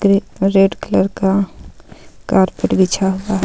Red colour का carpet बिछा हुआ है.